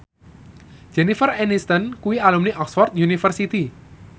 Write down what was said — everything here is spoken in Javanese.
Jennifer Aniston kuwi alumni Oxford university